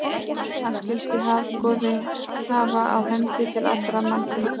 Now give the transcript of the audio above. Hann skyldi hofgoði hafa á hendi til allra mannfunda.